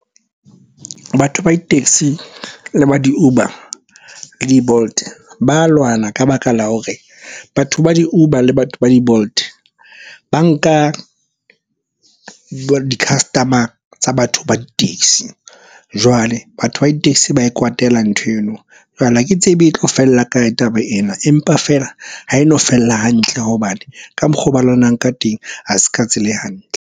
Batho ba di-taxi le ba di-Uber, le di-Bolt ba lwana ka baka la hore batho ba di-Uber le batho ba di-Bolt ba nka di-customer tsa batho ba di-taxi. Jwale batho ba di-taxi ba e kwatela ntho eno. Jwale ha ke tsebe e tlo fella kae taba ena, empa feela ha e no fella hantle hobane ka mokgo ba lwanang ka teng ha se ka tsela e hantle.